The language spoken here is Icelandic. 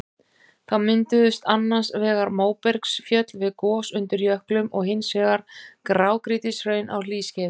Þá mynduðust annars vegar móbergsfjöll við gos undir jöklum og hins vegar grágrýtishraun á hlýskeiðum.